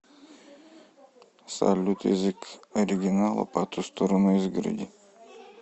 салют язык оригинала по ту сторону изгороди